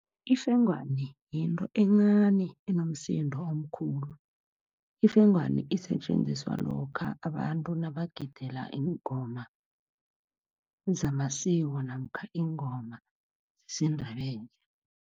Ifengwana yinto encani enomsindo omkhulu. Ifengwana isetjenziswa lokha abantu nabagidela iingoma zamasiko namkha iingoma zesiNdebele.